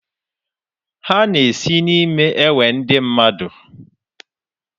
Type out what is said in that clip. Ha na-esi n'me ewe ndi nmadụ?